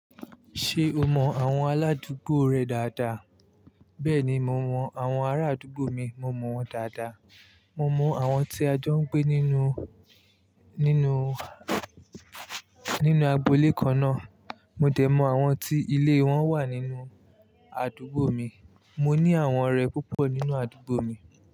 Ṣé o mọ àwọn aládùúgbò rẹ dáadáa? Bẹ́ẹ̀ni, mo mọ àwọn ará àdúgbò mi, mo mọ̀ wọ́n dáadáa. Mo mọ àwọn tí a jọ ń gbé nínú, nínú, nínú agboolé kan náà. Mo dẹ̀ mọ àwọn tí ilé wọn wà nínú àdúgbò mi. Mo ní àwọn ọ̀rẹ́ púpọ̀ nínú àdúgbò mi.